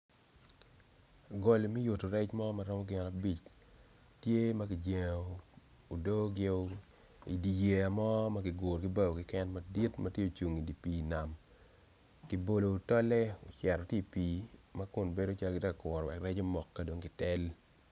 Goli me yuto rec mo maromo gin abic tye maki jengo odoo gi i di yeya mo magiguro gibawo keken madit matye ocung i di pi i nam kibolo tolle ocito tye i pi ma kun bedo calo gitye ka kuro rec omok kadong kitel.